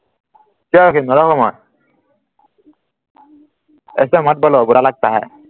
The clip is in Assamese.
কিয় ৰখিম নৰখো মই एसा मत बलौ बुरा लगता है